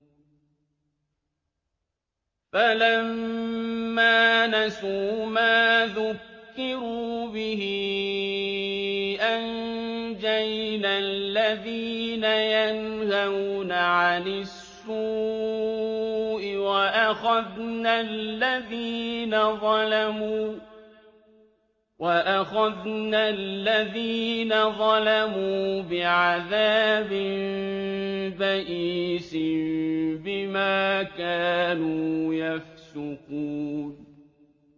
فَلَمَّا نَسُوا مَا ذُكِّرُوا بِهِ أَنجَيْنَا الَّذِينَ يَنْهَوْنَ عَنِ السُّوءِ وَأَخَذْنَا الَّذِينَ ظَلَمُوا بِعَذَابٍ بَئِيسٍ بِمَا كَانُوا يَفْسُقُونَ